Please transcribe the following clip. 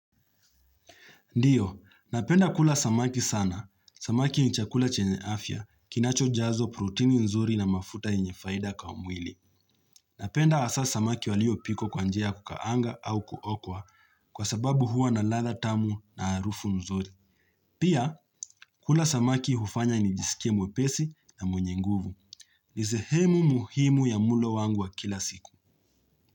Ndio, napenda kula samaki sana, samaki ni chakula chenye afya, kinacho jazo protini nzuri na mafuta enyefaida kwa mwili. Napenda asa samaki walio pikwa kwanjia kukaanga au kuokwa, kwa sababu hua na ladha tamu na harufu nzuri. Pia, kula samaki hufanya nijiskie mwepesi na mwenye nguvu. Nisehemu muhimu ya mulo wangu wa kila siku.